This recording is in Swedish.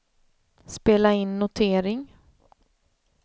spela in notering